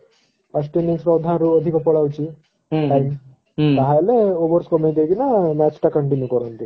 first innings ଅଧା ରୁ ଅଧିକ ପଲଉଛି ତା ହେଲେ overs କମେଇ ଦେଇ କିନା match ଟା continue କରନ୍ତି